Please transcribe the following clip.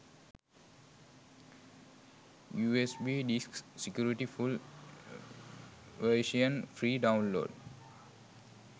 usb disk security full version free download